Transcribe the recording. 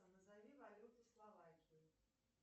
назови валюту словакии